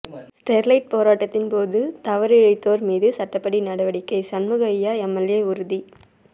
Sterlite போராட்டத்தின் போது தவறு இழைத்தோர் மீது சட்டப்படி நடவடிக்கை சண்முகையா எம்எல்ஏ உறுதி